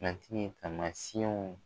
Matigi ye taamasiyɛnw